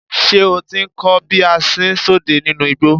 Ṣé o ti ń kọ́ bí a ṣ ń sọdẹ nínú igbó?